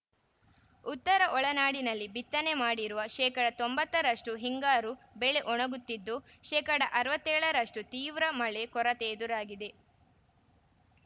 ಉತ್ತರ ಒಳನಾಡಿನಲ್ಲಿ ಬಿತ್ತನೆ ಮಾಡಿರುವ ಶೇಕಡಾ ತೊಂಬತ್ತರಷ್ಟುಹಿಂಗಾರು ಬೆಳೆ ಒಣಗುತ್ತಿದ್ದು ಶೇಕಡಾ ಅರವತ್ತ್ ಏಳರಷ್ಟುತೀವ್ರ ಮಳೆ ಕೊರತೆ ಎದುರಾಗಿದೆ